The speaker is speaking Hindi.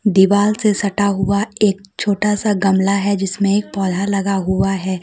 दीवाल से सटा हुआ एक छोटा सा गमला है जिसमें एक पौधा लगा हुआ है।